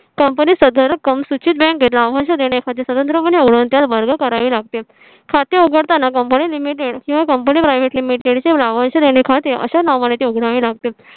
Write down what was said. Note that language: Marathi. company स अदा रक्कम सुचित bank लाभांश देणे स्वतंत्रपणे वर्ग करावी लागतील. खाते उघडताना company Limited किव्हा Company Private Limited लाभांश देणे खाते अशा नावाने ते उघडावे लागते